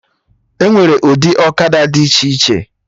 Enwere ụdị ọkada dị iche iche